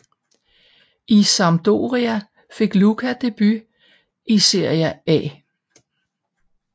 I Sampdoria fik Luca debut i Seria A